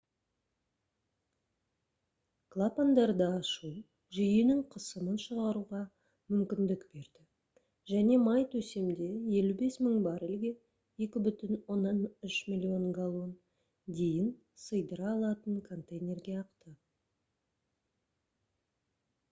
клапандарды ашу жүйенің қысымын шығаруға мүмкіндік берді және май төсемде 55 000 баррельге 2,3 миллион галлон дейін сыйдыра алатын контейнерге ақты